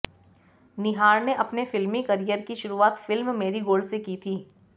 निहार ने अपने फिल्मी करियर की शुरुआत फिल्म मेरीगोल्ड से की थी